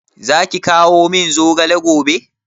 Zaki kawo min zogale gobe?